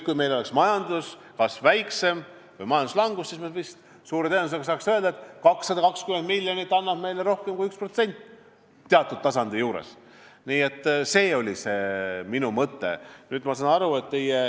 Kui meil oleks väiksem majanduskasv või majanduslangus, siis me suure tõenäosusega saaks öelda, et 220 miljonit annab meile teatud tasandil rohkem kui 1%.